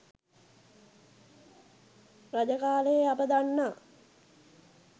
රජ කාලයේ අප දන්නා